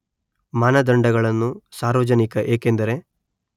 ಮಾನದಂಡಗಳನ್ನು ಸಾರ್ವಜನಿಕ ಏಕೆಂದರೆ